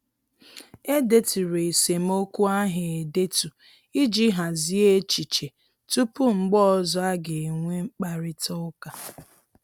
E deturu esemokwu ahụ edetu iji hazie echiche tupu mgbe ọzọ a ga-enwe mkparịta ụka